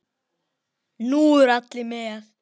Nú eru allir með!